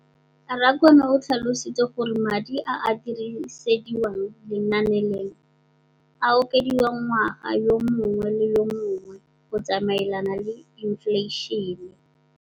Rakwena o tlhalositse gore madi a a dirisediwang lenaane leno a okediwa ngwaga yo mongwe le yo mongwe go tsamaelana le